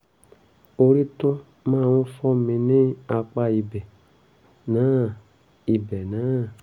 orí tún máa ń fọ́ mí ní apá ibẹ̀ náà ibẹ̀ náà